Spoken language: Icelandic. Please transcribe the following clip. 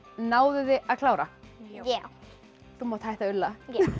náðuð þið að klára já þú mátt hætta að ulla